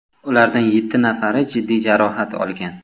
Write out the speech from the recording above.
Ulardan yetti nafari jiddiy jarohat olgan.